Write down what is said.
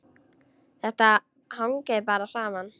Þetta hangir bara saman.